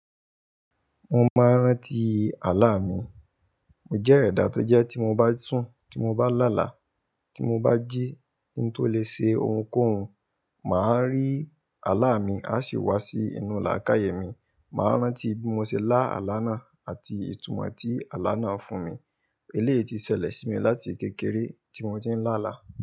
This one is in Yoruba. Mo máa ń rántí àlá mi. Mo jẹ́ ẹ̀dà tó jẹ́ tí mo bá sùn, tí mo bá lálà, tí mo bá jí kí n tó lè ṣe ohunkóhun, mà á rí àlá mi, a sì wá sí inú làákàyè mi. Mà á rántí bí mo ṣe lá àlá náà àti ìtumọ̀ tí àlá náà fún mi. Eléyìí ti ṣẹlẹ̀ sí mi láti kékeré tí mo ti ń làlà.